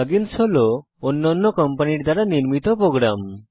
plug ইন্স হল অন্যান্য কোম্পানির দ্বারা নির্মিত প্রোগ্রাম